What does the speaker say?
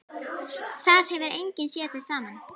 Það hefur enginn séð þau saman.